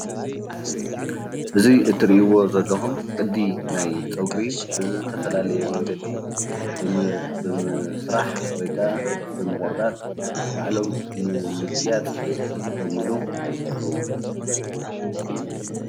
እዚ እትሪእዎ ዘለኹም ቅዲ ናይ ፀጉሪ ብዝተፈላለየ መንገዲ ብምስራሕ ወይካዓ ብምቑርጣጥ በዓሎም ንምግያፅ ዝጥቀምሉ ይኸውን ።